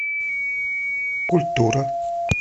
культура